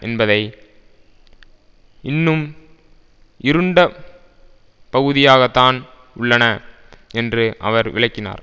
என்பவை இன்னும் இருண்ட பகுதியாகத்தான் உள்ளன என்று அவர் விளக்கினார்